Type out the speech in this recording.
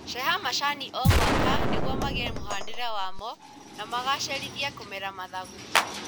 Ceha macani o mwaka nĩguo maige mũhanĩre wamo na magacĩrithie kũmera mathangũ